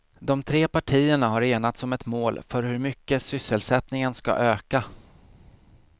De tre partierna har enats om ett mål för hur mycket sysselsättningen ska öka.